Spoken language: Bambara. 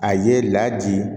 A ye ladi